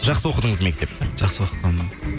жақсы оқыдыңыз мектепті жақсы оқығанмын